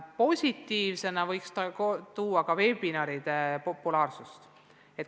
Positiivsena võiks esile tuua ka veebiseminaride populaarsuse.